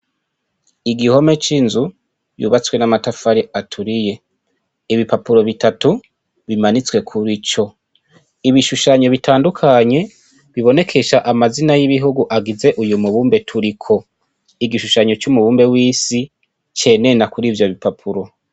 Igihome c'inzu yubatswe n'amatafari aturiye, ibipapuro bitatu bimanitswe kurico, ibishushanyo bitandukanye bibonekesha amazina y'ibihugu agize uyu mubumbe turiko, igishushanyo c'umubumbe w'isi cenena kur'ivyo bipapuro.